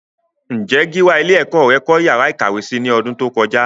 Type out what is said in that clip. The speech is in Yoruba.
Ǹjé Gíwá ilé ẹ̀kọ́ rẹ kọ́ yàrá ìkàwé si ní ọdún tó kọjá?